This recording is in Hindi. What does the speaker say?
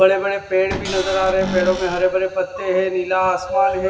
बड़े-बड़े पेड़ भी नजर आ रहे हैं पेड़ों में हरे भरे पत्ते हैं नीला आसमान है।